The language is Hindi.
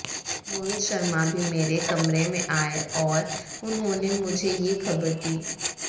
मोहित शर्मा भी मेरे कमरे में आए और उन्होंने मुझे ये खबर दी